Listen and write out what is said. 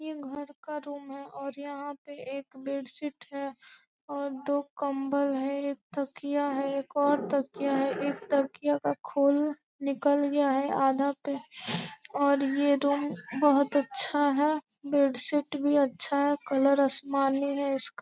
यह घर का रूम है और यहाँ पे एक बेडशीट है और दो कम्बल है एक तकिया है एक और तकिया है एक तकिया का खोल निकल गया है आधा पे और ये रूम बहुत अच्छा है बेडशीट भी अच्छा है कलर आसमानी है इसका।